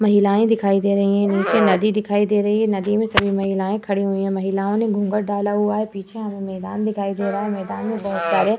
महिलाएं दिखाई दे रहे हैं। नीचे नदी दिखाई दे रही है। नदी में सभी महिलाएं खड़ी हुई हैं। महिलाओं ने घूंघट डाला हुआ है। पीछे हमें मैदान दिखाई दे रहा है। मैदान में बहुत सारे --